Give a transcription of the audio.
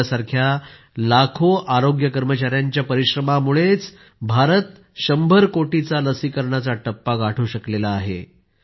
आपल्यासारख्या लाखो आरोग्य कर्मचाऱ्यांच्या परिश्रमांमुळेच भारत 100 कोटीचा लसीकरणाचा टप्पा गाठू शकला आहे